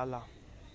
आला